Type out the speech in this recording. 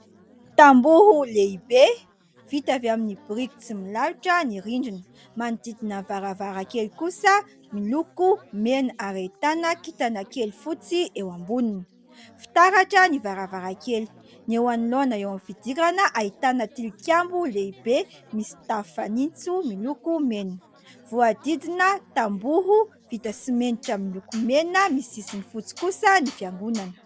Tamboho lehibe vita avy amin'ny biriky tsy milalotra ny rindrina. Manodidina ny varavarankely kosa miloko mena ary ahitana kitana kely fotsy eo amboniny. Fitaratra ny varavarankely. Ny eo anoloana eo amin'ny fidirana ahitana tilikambo lehibe misy tafo fanitso miloko mena. Voadidina tamboho vita simenitra miloko mena misy sisiny fotsy kosa ny fiangonana.